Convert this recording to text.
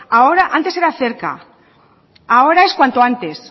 antes era cerca ahora es cuanto antes